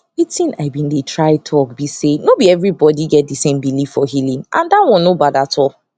wetin i been dey try talk be sayno be everybody get the same belief for healing and that one no bad at all